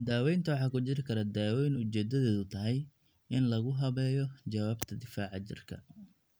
Daawaynta waxaa ku jiri kara dawooyin ujeeddadoodu tahay in lagu habeeyo jawaabta difaaca jidhka.